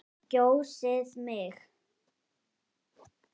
Kjósið mig.